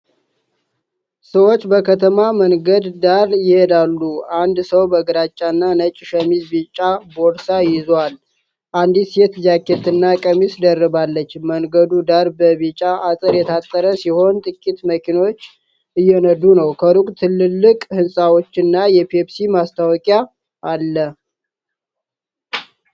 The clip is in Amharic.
ሰዎች በከተማ መንገድ ዳር ይሄዳሉ። አንድ ሰው በግራጫና ነጭ ሸሚዝ ቢጫ ቦርሳ ይዞአል። አንዲት ሴት ጃኬት እና ቀሚስ ደርባለች። መንገዱ ዳር በቢጫ አጥር የታጠረ ሲሆን ጥቂት መኪኖች እየነዱ ነው። ከሩቅ ትልልቅ ሕንጻዎችና የፔፕሲ ማስታወቂያ አለ።